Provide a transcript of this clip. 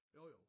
Jo jo